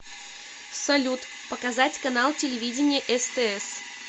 салют показать канал телевидения стс